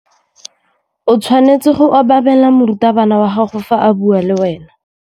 O tshwanetse go obamela morutabana wa gago fa a bua le wena.